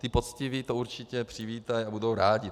Ti poctiví to určitě přivítají a budou rádi.